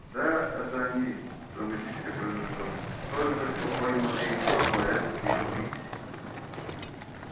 да это они драматически произнёс он только что пойманные корнуэльские пикси